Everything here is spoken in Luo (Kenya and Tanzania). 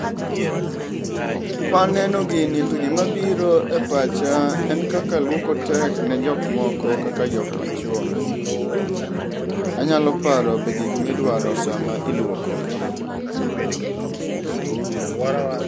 Kwaneno gini to gima bireo e pacha en kaka luoko tek ne jok moko kaka jomachuo. Anyalo paro be gik midwaro sama iluoko